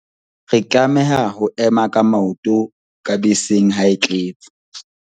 re tlameha ho ema ka maoto ka beseng ha e tletse